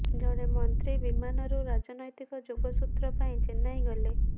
ଜଣେ ମନ୍ତ୍ରୀ ବିମାନରୁ ରାଜନୈତିକ ଯୋଗସୂତ୍ର ପାଇଁ ଚେନ୍ନାଇ ଗଲେ